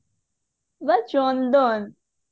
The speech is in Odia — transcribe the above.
ବେ ଚନ୍ଦନ